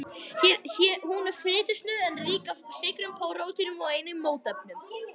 Hún er fitusnauð en rík af sykrum og prótínum og einnig mótefnum.